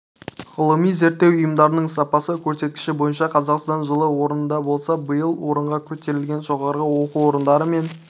ғылыми-зерттеу ұйымдарының сапасы көрсеткіші бойынша қазақстан жылы орында болса биыл орынға көтерілген жоғары оқу орындары мен